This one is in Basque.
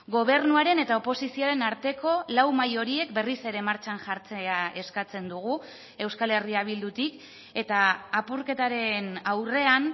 gobernuaren eta oposizioaren arteko lau mahai horiek berriz ere martxan jartzea eskatzen dugu euskal herria bildutik eta apurketaren aurrean